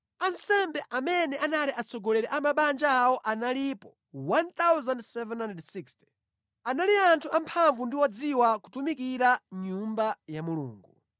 Ansembe amene anali atsogoleri a mabanja awo analipo 1,760. Anali anthu amphamvu ndi odziwa kutumikira mʼnyumba ya Mulungu.